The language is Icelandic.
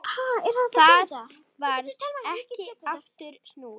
Það varð ekki aftur snúið.